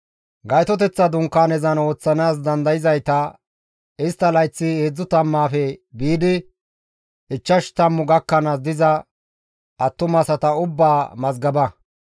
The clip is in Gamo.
Gaytoteththa dunkaanezan ooththanaas dandayzayta, istta layththi heedzdzu tammaafe biidi ichchashu tammu gakkanaas diza attumasata ubbaa mazgaba.